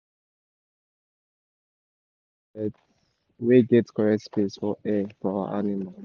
we build thach house wey get corret wey get corret space for air for our animal